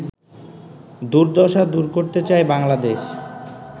দুর্দশা দূর করতে চায় বাংলাদেশ